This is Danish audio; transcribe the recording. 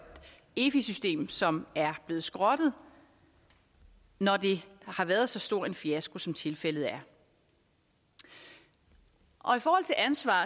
efi system som er blevet skrottet når det har været så stor en fiasko som tilfældet er i forhold til ansvar